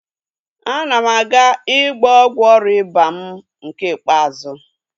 Ana m aga ịgba ọgwụ ọrịa ịba mụ nke ikpeazụ